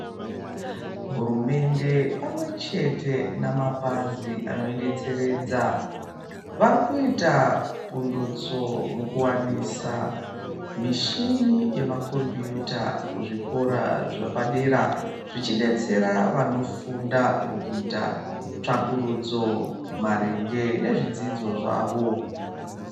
Hurumende pamwechete namapazi anoidetseredza vari kuita pundutso mukuwanisa mishini yemakombiyuta kuzvikora zvepadera zvichidetsera vanofunda mukuita tsvakurudzo maringe nezvidzidzo zvavo.